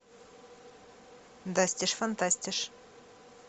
дастиш фантастиш